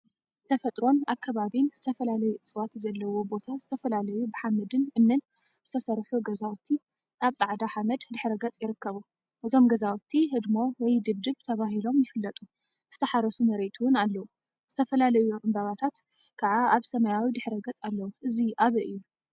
ተፈጥሮን አከባቢን ዝተፈላለዩ እፅዋት ዘለዉዎ ቦታ ዝተፈላለዩ ብሓመድን እምኒን ዝተሰርሑ ገዛውቲ አብ ፃዕዳ ሓመድ ድሕረ ገፅ ይርከቡ፡፡ እዞም ገዛውቲ ህድሞ/ድብድብ/ ተባሂሎም ይፍለጡ፡፡ ዝተሓረሱ መሬት እውን አለው፡፡ ዝተፈላለዩ እምባታት ከዓ አብ ሰማያዊ ድሕረ ገፅ አለው፡፡ እዙይ አበይ እዩ?